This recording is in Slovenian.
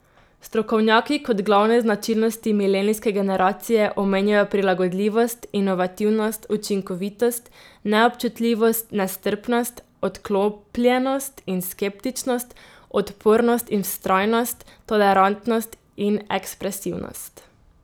Strokovnjaki kot glavne značilnosti milenijske generacije omenjajo prilagodljivost, inovativnost, učinkovitost, neobčutljivost, nestrpnost, odklopljenost in skeptičnost, odpornost in vztrajnost, tolerantnost in ekspresivnost.